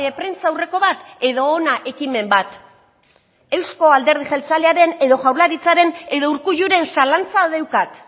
prentsaurreko bat edo hona ekimen bat euzko alderdi jeltzalearen edo jaurlaritzaren edo urkulluren zalantza deukat